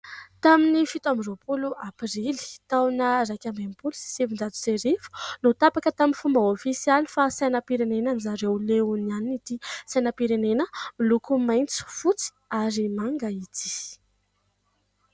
Tamin'ny fito amby roapolo aprily, taona iraika amby enimpolo sy sivinjato sy arivo no tapaka tamin'ny fomba ofisialy fa sainam-pirenena an-dry zareo Leonianina ity sainam-pirenena miloko maitso, fotsy ary manga ity.